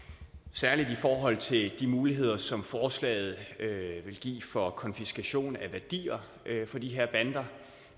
særlig i forhold til de muligheder som forslaget vil give for konfiskation af værdier fra de her bander